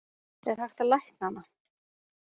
Er hægt að lækna hana?